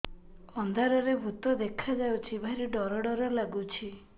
ଅନ୍ଧାରରେ ଭୂତ ଦେଖା ଯାଉଛି ଭାରି ଡର ଡର ଲଗୁଛି